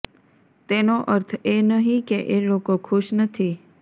તેનો અર્થ એ નહિ કે એ લોકો ખુશ નથી